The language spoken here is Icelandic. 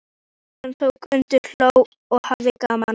Og Anton tók undir, hló og hafði gaman af.